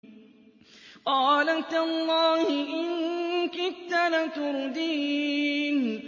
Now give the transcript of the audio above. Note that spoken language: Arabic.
قَالَ تَاللَّهِ إِن كِدتَّ لَتُرْدِينِ